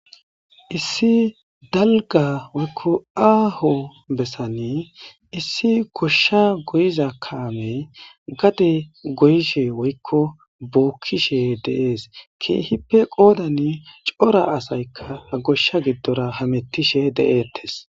Issi dalga woykko aaho bessane issi goshsha goyiza kaame gade goyishe woykko bookkishe deees keehippe qoodani cora asaykka goshsha giddora hamettishe de'ettes